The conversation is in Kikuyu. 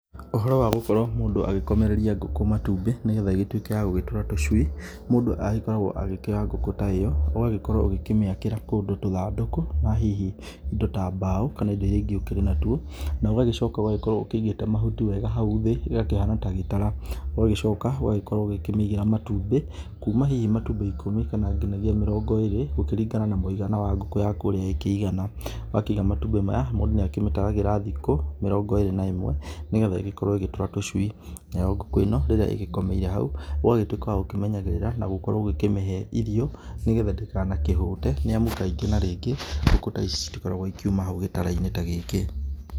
Ũhoro wa gũkorwo mũndu agĩkomereria ngũkũ matumbĩ nĩgetha ĩgĩtuĩke nĩyagwatũra tũcui ,mũndũ agĩkoragwo agĩkĩoya ngũkũ ta ĩyo, ũgagĩkorwo ũkĩmĩakĩra kũndũ tũthandũkũ, na hihi indo ta mbao kana irĩ ingĩ irĩ na tuo, nogagĩcoka ũgagĩkorwo ũkĩnyita mahuti wega hau thĩ ĩrĩa ĩkĩhana na gĩtara, ũgagĩcoka ũgagĩkorwo ũkĩmĩigĩra matumbĩ kuuma hihi matumbĩ ĩkũmi kana nginyagia mĩrongo ĩrĩ ũkĩringana na mũigana wa ngũkũ yaku ũrĩa ĩkĩigana, wakiga matumbĩ maya mũndũ nĩakĩmĩtaragĩra thikũ mĩrongo ĩrĩ na ĩmwe nigetha ĩgĩkorwe ĩgĩatũra tũcui nayo ngũkũ ĩno rĩrĩa ĩgĩkomeire hau ũgagĩtuĩka wagũkĩmenyerera na gũkorwo ũgĩkĩmĩhe irio nĩgetha ĩtĩkanahũte nĩamu hindĩ na hĩndĩ ngũkũ ta ici itigĩkoragwa ikiuma gĩtarainĩ ta gĩkĩ.